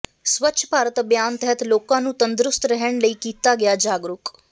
ਸਵੱਛ ਭਾਰਤ ਅਭਿਆਨ ਤਹਿਤ ਲੋਕਾਂ ਨੂੰ ਤੰਦਰੁਸਤ ਰਹਿਣ ਲਈ ਕੀਤਾ ਗਿਆ ਜਾਗਰੂਕ